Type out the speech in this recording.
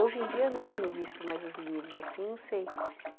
Hoje em dia, não tenho visto mais os livros assim, não sei.